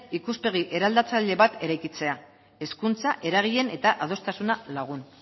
ikuspegi eraldatzaile bat eraikitzea hezkuntza eragileen eta adostasuna lagun